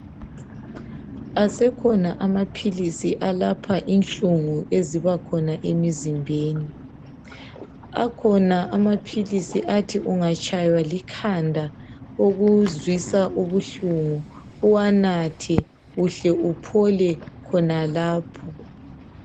Asekhona amaphilisi alapha inhlungu eziba khona emizimbeni, akhona amaphilisi athi ungatshaywa likhanda ukuzwisa ubuhlungu uwanathe uhle uphole khonalapho.